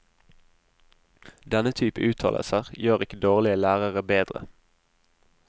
Denne type uttalelser gjør ikke dårlige lærere bedre.